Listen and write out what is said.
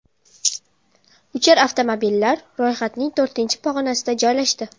Uchar avtomobillar ro‘yxatning to‘rtinchi pog‘onasida joylashdi.